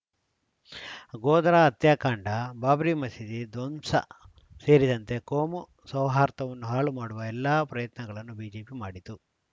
ಗೋದ್ರಾ ಹತ್ಯಾಕಾಂಡ ಬಾಬ್ರಿ ಮಸೀದಿ ಧ್ವಂಸ ಸೇರಿದಂತೆ ಕೋಮು ಸೌಹಾರ್ದವನ್ನು ಹಾಳುವ ಮಾಡುವ ಎಲ್ಲ ಪ್ರಯತ್ನಗಳನ್ನು ಬಿಜೆಪಿ ಮಾಡಿತು